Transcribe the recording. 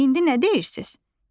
İndi nə deyirsiz?